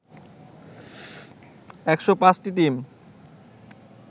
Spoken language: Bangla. ১০৫টি টিম